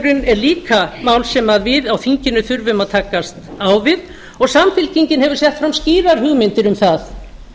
matarkostnaðurinn er líka mál sem við á þinginu þurfum að takast á við og samfylkingin hefur sett fram skýrar hugmyndir um það